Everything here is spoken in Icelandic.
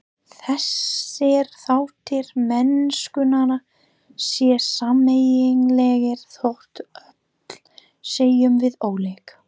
Þessir þættir mennskunnar séu sameiginlegir þótt öll séum við ólík.